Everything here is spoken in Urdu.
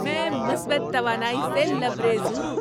میں مثبت توانائی سے لبریز ہوں۔